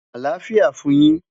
Alafia fun yin